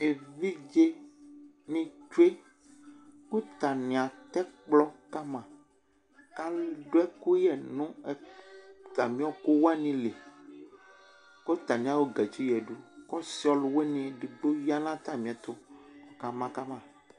Evidze ni tsʋe kʋ tani atɛ kplɔ kama kʋ aɖu ɛkuyɛ ŋu atami ɔkuwanili kʋ ataŋi ayɔ katsi yaɖu kʋ ɔsi ɛɖigbo yaŋʋ atamiɛtu kʋ ɔka ma kama